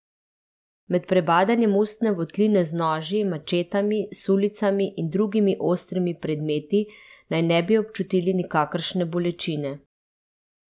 Med prebadanjem ustne votline z noži, mačetami, sulicami in drugimi ostrimi predmeti naj ne bi občutili nikakršne bolečine.